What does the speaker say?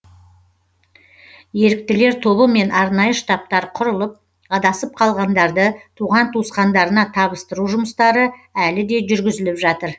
еріктілер тобы мен арнайы штабтар құрылып адасып қалғандарды туған туысқандарына табыстыру жұмыстары әлі де жүргізіліп жатыр